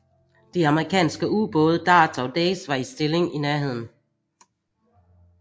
De amerikanske ubåde Darter og Dace var i stilling i nærheden